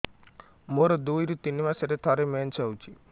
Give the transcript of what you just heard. ମୋର ଦୁଇରୁ ତିନି ମାସରେ ଥରେ ମେନ୍ସ ହଉଚି